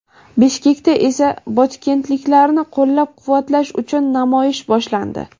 Bishkekda esa botkenliklarni qo‘llab-quvvatlash uchun namoyish boshlandi.